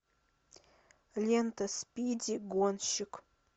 лента спиди гонщик